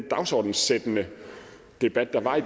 dagsordenssættende debat der var